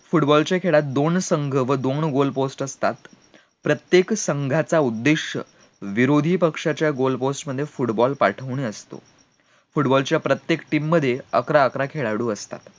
football च्या खेळात दोन संघ व दोन goal post असतात प्रत्येक संघाचा उद्देश्य विरोधी पक्षच्या goal post मध्ये football पाठवणे असते football च्या प्रत्येक team मध्ये अकरा अकरा खेळाळू असतात